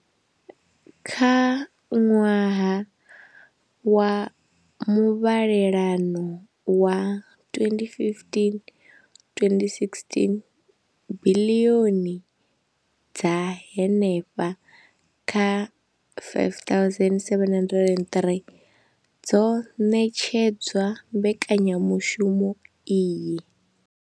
Kha ṅwaha wa muvhalelano wa 2015,2016, biḽioni dza henefha kha R5 703 dzo ṋetshedzwa mbekanya mushumo iyi.